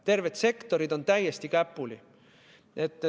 Terved sektorid on täiesti käpuli.